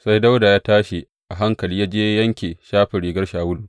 Sai Dawuda ya tashi a hankali ya je ya yanke shafin rigar Shawulu.